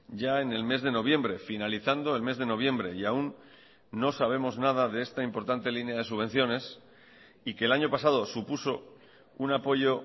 ya en el mes de noviembre finalizando el mes de noviembre y aún no sabemos nada de esta importante línea de subvenciones y que el año pasado supuso un apoyo